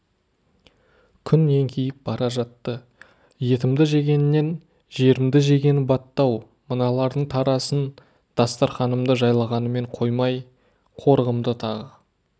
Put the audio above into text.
күн еңкейіп бара жатты етімді жегенінен жерімді жегені батты-ау мыналардың тарасын дастарқанымды жайлағанымен қоймай қорығымды тағы